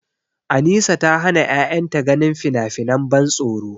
Anisa ta hana ƴaƴanta ganin finafinan ban tsoro.